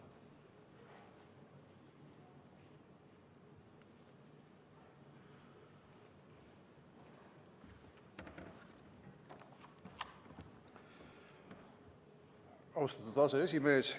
Austatud aseesimees!